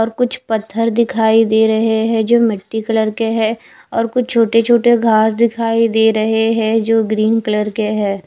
और कुछ पत्थर दिखाई दे रहे है जो मिट्टी कलर के है और कुछ छोटे छोटे घास दिखाई दे रहे है जो ग्रीन कलर के है।